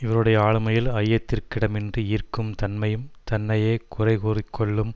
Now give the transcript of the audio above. இவருடைய ஆளுமையில் ஐயத்திற்கிடமின்றி ஈர்க்கும் தன்மையும் தன்னையே குறைகூறிக்கொள்ளும்